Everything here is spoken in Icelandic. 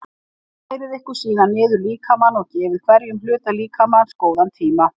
Færið ykkur síðan niður líkamann og gefið hverjum hluta líkamans góðan tíma.